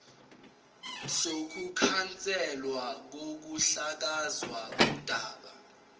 sokukhanselwa kokuhlakazwa kodaba